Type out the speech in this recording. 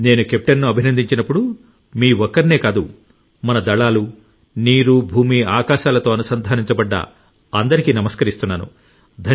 నేను కెప్టెన్ను అభినందించినప్పుడు మీ ఒక్కరినే కాదు మన దళాలు నీరు భూమి ఆకాశాలతో అనుసంధానించబడ్డ అందరికీ నమస్కరిస్తున్నాను